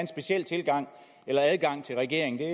speciel tilgang eller adgang til regeringen